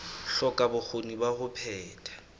hloka bokgoni ba ho phetha